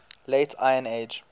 late iron age